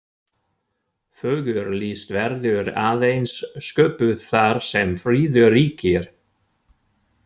Fögur list verður aðeins sköpuð þar sem friður ríkir.